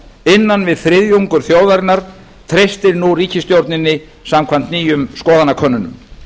innan við þriðjungur þjóðarinnar treystir nú ríkisstjórninni samkvæmt nýjum skoðanakönnunum